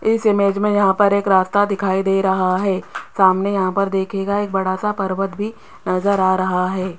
इस इमेज में यहां पर एक रास्ता दिखाई दे रहा है सामने यहां पर दिखेगा एक बड़ा सा पर्वत भी नजर आ रहा है।